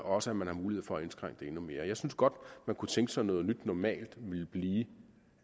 også at man har mulighed for at indskrænke det endnu mere jeg synes godt man kunne tænke sig at noget nyt normalt ville blive